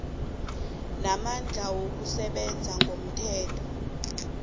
namandla wokusebenza ngomthetho